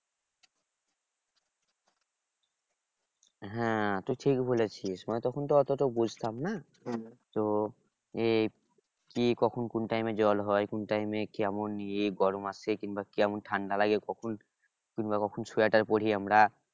হ্যাঁ তুই ঠিক বলেছিস মানে তখন তো অতটা বুঝতাম না তো এই কি কখন কোন time এ জল হয় কোন time এ কেমন গরম আসে কিংবা কেমন ঠান্ডা লাগে কখন কিংবা কখন sweater পরি আমরা